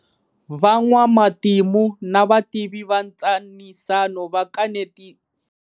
Van'wamatimu na vativi va ntshanisano va kanetanile.